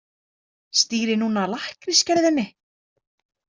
Stýri núna lakkrísgerðinni.